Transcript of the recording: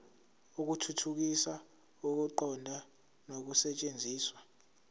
ukuthuthukisa ukuqonda nokusetshenziswa